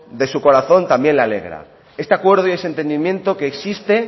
de su corazón también le alegra este acuerdo y ese entendimiento que existe